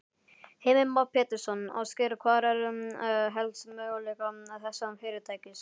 Heimir Már Pétursson: Ásgeir, hvar sérðu helst möguleika þessa fyrirtækis?